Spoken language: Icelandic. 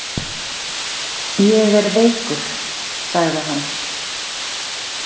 Ég er veikur, sagði hann.